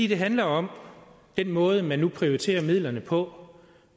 det handler om den måde man nu prioriterer midlerne på